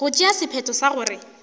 go tšea sephetho sa gore